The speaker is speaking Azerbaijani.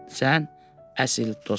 Sən əsl dostsan.